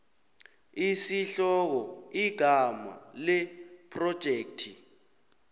isihloko igama lephrojekthi